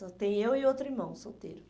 Só tem eu e outro irmão solteiro.